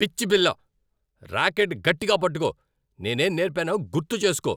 పిచ్చి పిల్లా. రాకెట్ గట్టిగా పట్టుకో. నేనేం నేర్పానో గుర్తుచేస్కో.